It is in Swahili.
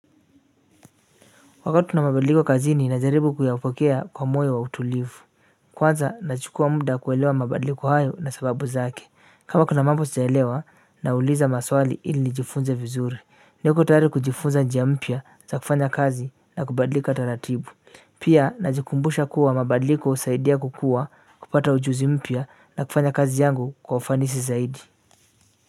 Wakati kuna mabadliko kazini najaribu kuyapokea kwa moyo wa utulivu kwanza na chukua muda kuelewa mabadliko hayo na sababu zake kama kuna mambo sijaelewa nauliza maswali ili nijifunze vizuri niko tayari kujifunza njia mpya za kufanya kazi na kubadlika taratibu pia na jikumbusha kuwa mabadliko husaidia kukuwa kupata ujuzi mpya na kufanya kazi yangu kwa ufanisi zaidi.